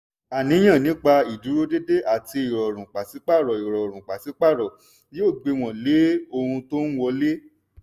àníyàn nípa ìdúródédé àti ìrọ̀rùn pàsípààrọ̀ ìrọ̀rùn pàsípààrọ̀ yóò gbéwòn lé ohun tó ń wọlé.